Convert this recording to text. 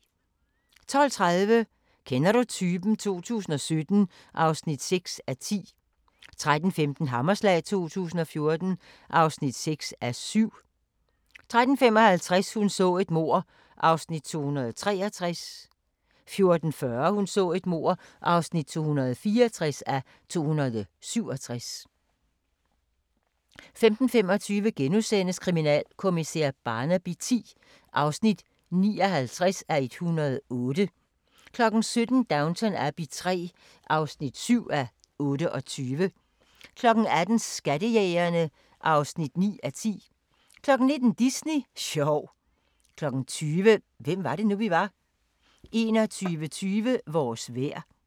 12:30: Kender du typen? 2017 (6:10) 13:15: Hammerslag 2014 (6:7) 13:55: Hun så et mord (263:267) 14:40: Hun så et mord (264:267) 15:25: Kriminalkommissær Barnaby X (59:108)* 17:00: Downton Abbey III (7:28) 18:00: Skattejægerne (9:10) 19:00: Disney sjov 20:00: Hvem var det nu, vi var? 21:20: Vores vejr